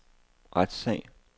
retssag